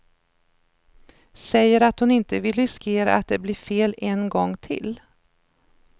Säger att hon inte vill riskera att det blir fel en gång till.